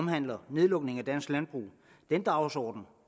handler om nedlukning af dansk landbrug den dagsorden